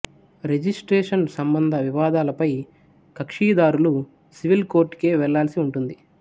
registration సంబంధ వివాదాలపై కక్షిదారులు సివిల్ కోర్టుకే వెళ్లాల్సి ఉంటుంది